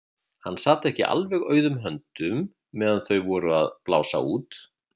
Hann sat ekki alveg auðum höndum meðan þau voru að blása út.